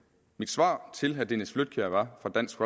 mit svar til herre dennis flydtkjær fra dansk